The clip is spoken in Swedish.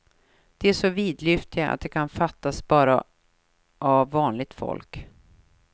De är så vidlyftiga att de kan fattas bara av vanligt folk.